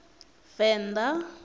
venda